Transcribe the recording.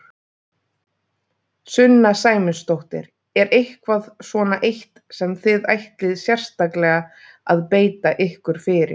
Sunna Sæmundsdóttir: Er eitthvað svona eitt sem þið ætlið sérstaklega að beita ykkur fyrir?